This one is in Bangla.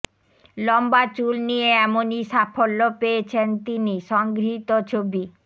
লম্বা চুল নিয়ে এমনই সাফল্য পেয়েছেন তিনি সংগৃহীত ছবি